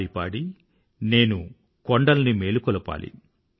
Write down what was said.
పాడి పాడి నేను కొండల్ని మేలుకొలపాలి